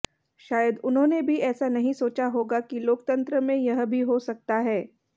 शायद उन्होंने भी ऐसा नहीं सोचा होगा कि लोकतंत्र में यह भी हो सकता है